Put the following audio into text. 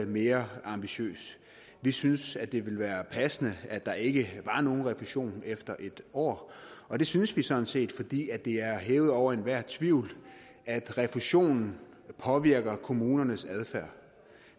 mere ambitiøs vi synes det ville være passende at der ikke var nogen refusion efter en år og det synes vi sådan set fordi det er hævet over enhver tvivl at refusionen påvirker kommunernes adfærd